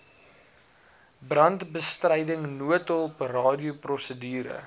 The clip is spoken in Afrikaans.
brandbestryding noodhulp radioprosedure